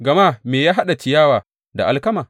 Gama me ya haɗa ciyawa da alkama?